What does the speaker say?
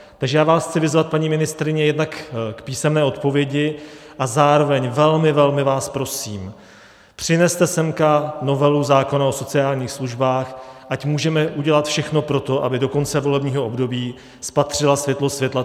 Takže já vás chci vyzvat, paní ministryně, jednak k písemné odpovědi a zároveň velmi, velmi, vás prosím, přineste sem novelu zákona o sociálních službách, ať můžeme udělat všechno pro to, aby do konce volebního období spatřila světlo světa.